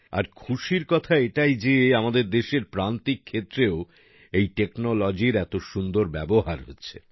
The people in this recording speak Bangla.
আর খুশির কথা এটাই যে আমাদের দেশের প্র্রান্তিক ক্ষেত্রেও এই টেকনোলজির এত সুন্দর ব্যবহার হচ্ছে